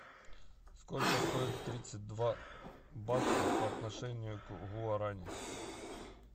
сколько стоит тридцать два бакса по отношению к гуарани